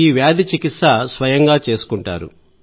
ఈ వ్యాధి చికిత్స స్వయంగా చేసుకుంటారు